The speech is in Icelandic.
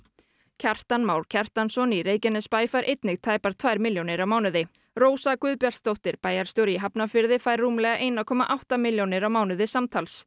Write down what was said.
Kjartan Már Kjartansson í Reykjanesbæ fær einnig tæpar tvær milljónir á mánuði Rósa Guðbjartsdóttir bæjarstjóri í Hafnarfirði fær rúmlega einn komma átta milljónir á mánuði samtals